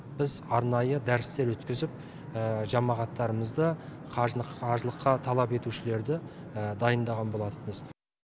біз арнайы дәрістер өткізіп жамағаттарымызды қажылық қажылыққа талап етушілерді дайындаған болатынбыз